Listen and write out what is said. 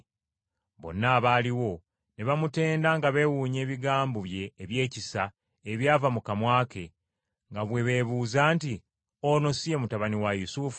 Bonna abaaliwo ne bamutenda nga beewuunya ebigambo bye ebyekisa ebyava mu kamwa ke, nga bwe beebuuza nti, “Ono si ye mutabani wa Yusufu?”